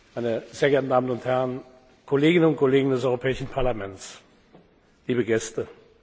hat, meine sehr geehrten Damen und Herren Kolleginnen und Kollegen des Europäischen Parlaments, liebe Gäste!